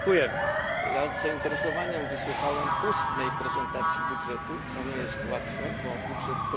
Ja z zainteresowaniem wysłuchałem ustnej prezentacji budżetu, co nie jest łatwe, bo budżet to liczby.